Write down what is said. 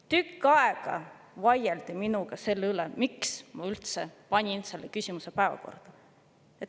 Tükk aega vaieldi minuga selle üle, miks ma üldse panin selle küsimuse päevakorda.